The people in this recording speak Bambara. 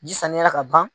Ji saniyara ka ban